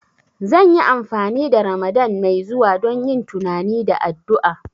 Zan yi amfani da Ramadan mai zuwa don yin tunani da addu'a